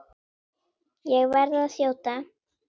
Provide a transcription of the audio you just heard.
Ég verð að þjóta.